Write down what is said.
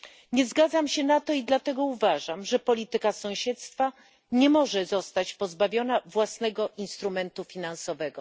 Nie zgadzam się na to i dlatego uważam, że polityka sąsiedztwa nie może zostać pozbawiona własnego instrumentu finansowego.